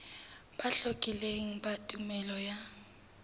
bo hlakileng ba tumello ya